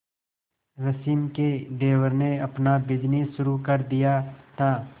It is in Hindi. रश्मि के देवर ने अपना बिजनेस शुरू कर दिया था